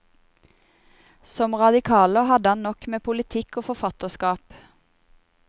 Som radikaler hadde han nok med politikk og forfatterskap.